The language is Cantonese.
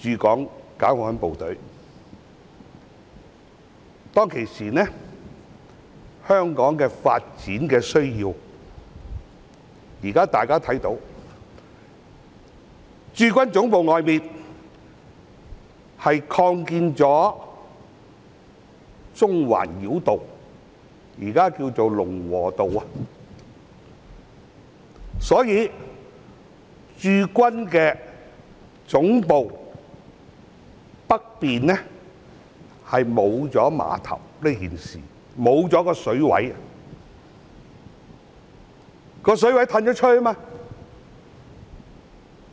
當時，因應香港的發展需要——現在大家看到，駐軍總部外興建了中環繞道，現在稱為龍和道——故此駐軍總部北面沒有碼頭，因為水域已經外移。